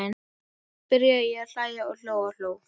Svo byrjaði ég að hlæja og hló og hló.